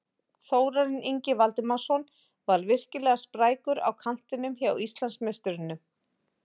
Þórarinn Ingi Valdimarsson var virkilega sprækur á kantinum hjá Íslandsmeisturunum.